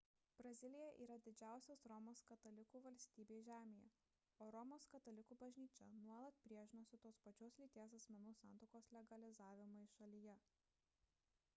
brazilija yra didžiausia romos katalikų valstybė žemėje o romos katalikų bažnyčia nuolat priešinosi tos pačios lyties asmenų santuokos legalizavimui šalyje